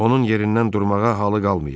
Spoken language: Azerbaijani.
Onun yerindən durmağa halı qalmayıb.